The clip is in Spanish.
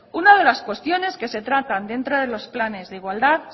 una de las cuestiones que se tratan dentro de los planes de igualdad